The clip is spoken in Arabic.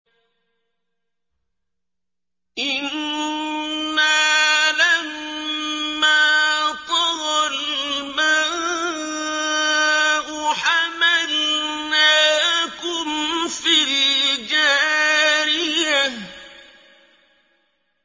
إِنَّا لَمَّا طَغَى الْمَاءُ حَمَلْنَاكُمْ فِي الْجَارِيَةِ